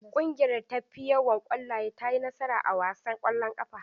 Ƙungiyar da ta fi yawan ƙwallaye ta yi nasara a wasan ƙwallon ƙafa.